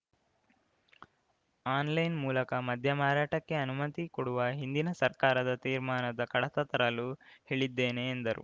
online ಮೂಲಕ ಮದ್ಯ ಮಾರಾಟಕ್ಕೆ ಅನುಮತಿ ಕೊಡುವ ಹಿಂದಿನ ಸರ್ಕಾರದ ತೀರ್ಮಾನದ ಕಡತ ತರಲು ಹೇಳಿದ್ದೇನೆ ಎಂದರು